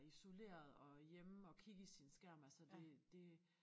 Isoleret og hjemme og kigge i sin skærm altså det det